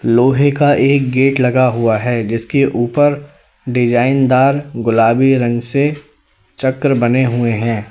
लोहे का एक गेट लगा हुआ है जिसके ऊपर डिजाइन दार गुलाबी रंग से चक्र बने हुए हैं।